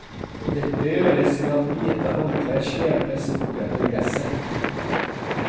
Dette gjøres ved at hvite håndklær slepes bortetter gresset.